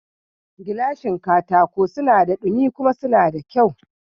Gilashin katako suna da dumi kuma suna da kyau